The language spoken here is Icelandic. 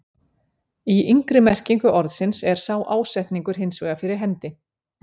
Í yngri merkingu orðsins er sá ásetningur hins vegar fyrir hendi.